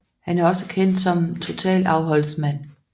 Han er også kendt som totalafholdsmand